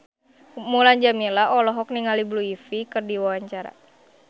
Mulan Jameela olohok ningali Blue Ivy keur diwawancara